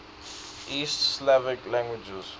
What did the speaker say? east slavic languages